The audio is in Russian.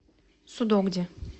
судогде